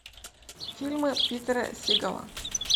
фильмы питера сигала